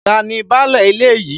Ta ni báálẹ̀ ilẹ̀ yìí?